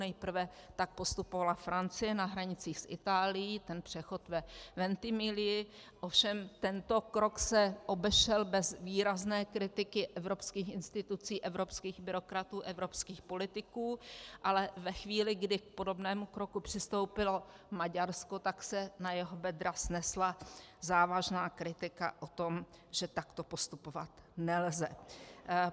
Nejprve tak postupovala Francie na hranicích s Itálií, ten přechod ve Ventimiglii, ovšem tento krok se obešel bez výrazné kritiky evropských institucí, evropských byrokratů, evropských politiků, ale ve chvíli, kdy k podobnému kroku přistoupilo Maďarsko, tak se na jeho bedra snesla závažná kritika o tom, že takto postupovat nelze.